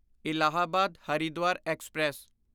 Allahabad Haridwar express